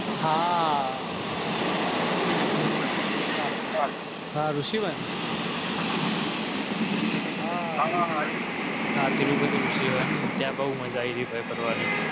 હાતિરુપતિ ત્યાં બહુ મજા આવી